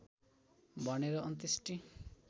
भनेर अन्त्येष्टि